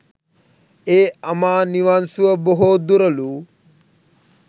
ඒ අමා නිවන් සුව බොහෝ දුරලූ